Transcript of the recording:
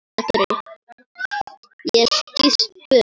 Ég skýst burt.